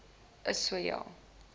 is so ja